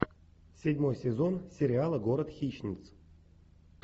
седьмой сезон сериала город хищниц